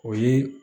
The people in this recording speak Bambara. O ye